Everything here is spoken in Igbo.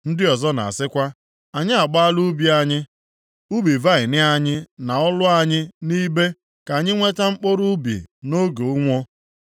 Ndị ọzọ na-asịkwa, “Anyị agbaala ubi anyị, ubi vaịnị anyị na ụlọ anyị nʼibe ka anyị nweta mkpụrụ ubi nʼoge ụnwụ.”